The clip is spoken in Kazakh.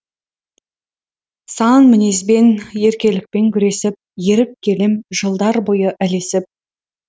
сан мінезбен еркелікпен күресіп еріп келем жылдар бойы ілесіп